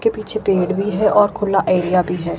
के पीछे पेड़ भी है और खुल्ला एरिया भी है।